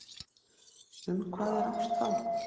Um hvað er ást þá?